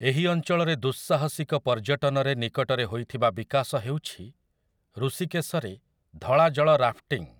ଏହି ଅଞ୍ଚଳରେ ଦୁଃସାହସିକ ପର୍ଯ୍ୟଟନରେ ନିକଟରେ ହୋଇଥିବା ବିକାଶ ହେଉଛି ଋଷିକେଶରେ ଧଳା ଜଳ ରାଫ୍ଟିଂ ।